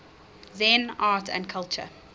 zen art and culture